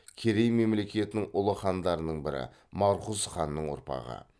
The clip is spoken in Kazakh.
керей мемлекетінің ұлы хандарының бірі марқұз ханның ұрпағы